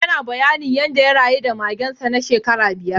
Yana bayani yanda ya rayu da magen sa na shekara biyar.